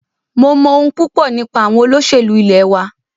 Mo mọ̀ ohun púpọ nípa àwọn olóṣèlú ilẹ̀ wa.